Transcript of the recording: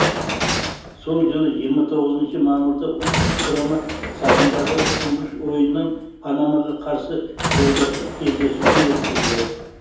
сол жылы жиырма тоғызыншы мамырда ұлттық құрама сапындағы тұңғыш ойынын панамаға қарсы жолдастық кездесуде өткізді